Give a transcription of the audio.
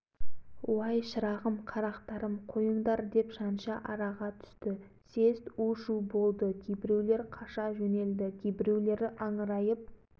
деп тұра ұмтылды съезд опыр-топыр болды кәне өлтір қалай өлтіресіңдер байқап көріңдер деп ғұбайдолла әлібекұлы қасаболатұлдары